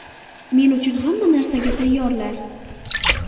Men uchun hamma narsaga tayyorlar.